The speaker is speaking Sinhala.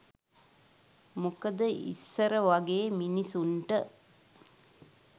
මොකද ඉස්සර වගේ මිනිස්සුන්ට